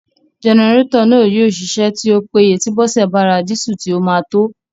Jẹnẹrétọ̀ náà yóò ṣiṣẹ́ tí ó péye tí Bọ́sẹ̀ bá ra dísù tí ó máa tó